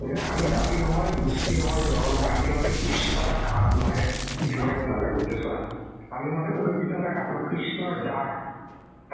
অৰ্থাত আমি যাতি নহয় গুষ্টি নহয় নহয় আমি মাথো ক্ৰিশ্মতক আত্মা হে কি ধূনীয়া কথা কৈ গৈছে চোৱা আমি মাথো ক্ৰিশ্মতক আত্মা কৃষ্ণৰ জাত